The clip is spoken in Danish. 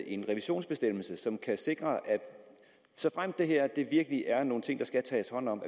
en revisionsbestemmelse i lovforslaget som kan sikre at vi såfremt det her virkelig er nogle ting der skal tages hånd om